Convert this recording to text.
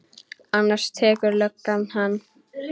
Annars tekur löggan hann.